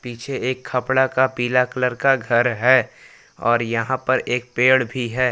पीछे एक खपड़ा का पीला कलर का घर है और यहां पर एक पेड़ भी है।